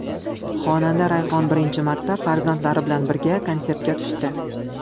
Xonanda Rayhon birinchi marta farzandlari bilan birga konsertga tushdi.